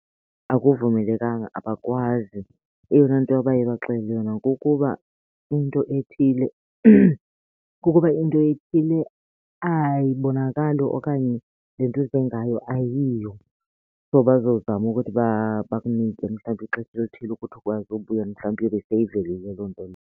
Akuvumelekanga, abakwazi, eyona nto abaye bakuxelela yona kukuba into ethile, kukuba into ethile ayibonakali okanye le nto uze ngayo ayiyo. So bazozama ukuthi bakunike mhlawumbi ixesha elithile ukuthi ukwazi ubuya mhlawumbi iyobe seyivelile loo nto leyo.